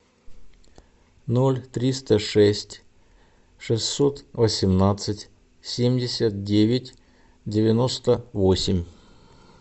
ноль триста шесть шестьсот восемнадцать семьдесят девять девяносто восемь